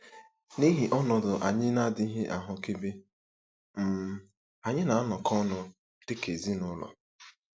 N'ihi ọnọdụ anyị na-adịghị ahụkebe um, anyị na-anọkọ ọnụ dị ka ezinụlọ.